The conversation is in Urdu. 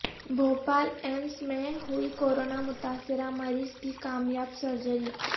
بھوپال ایمس میں ہوئی کورونا متاثرہ مریض کی کامیاب سرجری